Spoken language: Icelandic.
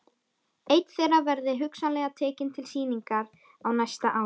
Einn þeirra verði hugsanlega tekinn til sýningar á næsta ári.